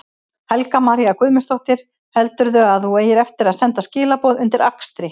Helga María Guðmundsdóttir: Heldurðu að þú eigir eftir að senda skilaboð undir akstri?